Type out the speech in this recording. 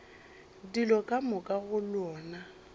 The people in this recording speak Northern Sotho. dilo ka moka go lona